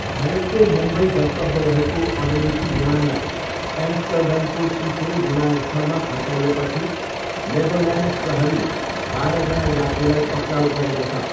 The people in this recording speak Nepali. भारतको मुम्बई गन्तव्य रहेको अमेरिकी विमानलाई एम्स्टर्डमको सिफोल विमानस्थलमा फर्काइएपछि नेदरल्यान्ड प्रहरीले बाह्रजना यात्रुलाई पक्राउ गरेको छ।